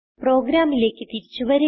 പ്രോഗ്രാമിലേക്ക് തിരിച്ചു വരിക